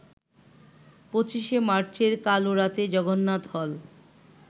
২৫শে মার্চের কালরাতে জগন্নাথ হল